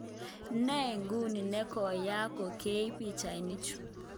Ne nguno ne koyaak kongeiip pichainichu